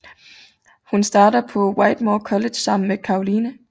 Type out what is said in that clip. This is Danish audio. Hun starter på Whitmore College sammen med Caroline